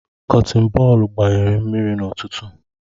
Kọtin bọọlụ gbanyere mmiri n'ụtụtụ